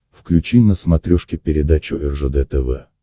включи на смотрешке передачу ржд тв